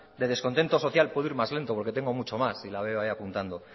de descontento social puedo ir más lento porque tengo mucho más y la veo ahí apuntando